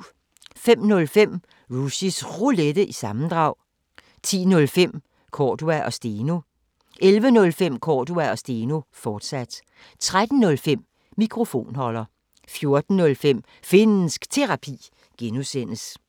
05:05: Rushys Roulette – sammendrag 10:05: Cordua & Steno 11:05: Cordua & Steno, fortsat 13:05: Mikrofonholder 14:05: Finnsk Terapi (G)